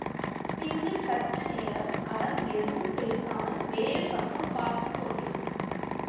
பின்பு சற்று நேரம் அவன் எதுவும் பேசாமல் வேறு பக்கம் பார்த்து கொண்டிருந்தான்